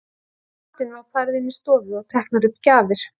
Eftir matinn var farið inn í stofu og teknar upp gjafir.